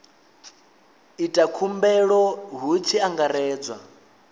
ita khumbelo hu tshi angaredzwa